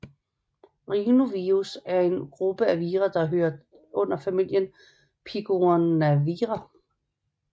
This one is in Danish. Rhinovirus er en gruppe af vira der hører under familien af picornavira